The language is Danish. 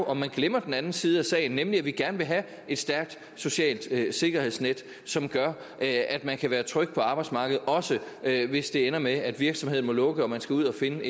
om vi glemmer den anden side af sagen nemlig at vi gerne vil have et stærkt socialt sikkerhedsnet som gør at man kan være tryg på arbejdsmarkedet også hvis det ender med at virksomheden må lukke og man skal ud at finde